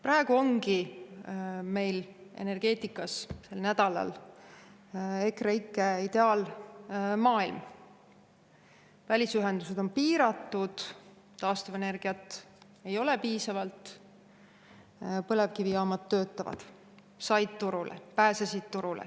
Praegu ongi meil energeetikas sel nädalal EKREIKE ideaalmaailm: välisühendused on piiratud, taastuvenergiat ei ole piisavalt, põlevkivijaamad töötavad, said turule, pääsesid turule.